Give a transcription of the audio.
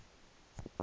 dr lategan road